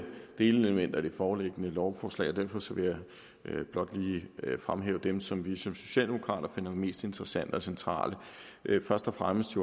delelementer i det foreliggende lovforslag derfor vil jeg blot lige fremhæve dem som vi som socialdemokrater finder mest interessante og centrale først og fremmest